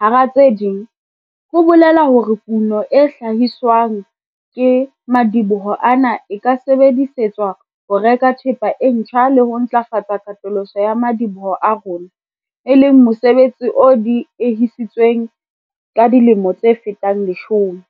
hara tse ding, ho bolela hore kuno e hla-hiswang ke madiboho ana e ka sebedisetswa ho reka thepa e ntjha le ho ntlafatsa katoloso ya madiboho a rona, e leng mosebetsi o diehisitsweng ka dilemo tse fetang leshome.